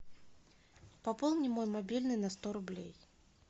пополни мой мобильный на сто рублей